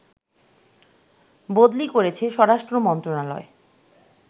বদলি করেছে স্বরাষ্ট্র মন্ত্রণালয়